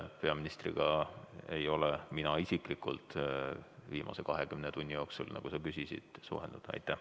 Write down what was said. Peaministriga ei ole mina isiklikult viimase 20 tunni jooksul, nagu sa küsisid, suhelnud.